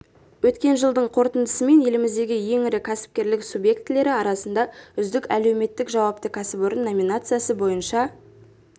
өткен жылдың қорытындысымен еліміздегі ең ірі кәсіпкерлік субъектілері арасында үздік әлеуметтік жауапты кәсіпорын номинациясы бойынша